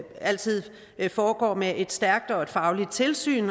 altid foregår med et stærkt og et fagligt tilsyn